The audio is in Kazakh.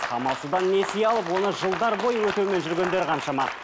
амалсыздан несие алып оны жылдар бойы өтеумен жүргендер қаншама